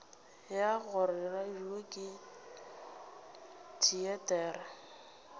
ya gore radio ke teatere